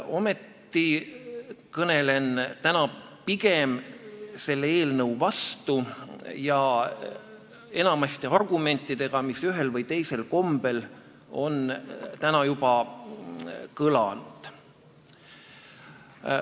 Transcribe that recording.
Ometi kõnelen täna pigem selle eelnõu vastu ja enamasti argumentidega, mis ühel või teisel kombel on täna juba kõlanud.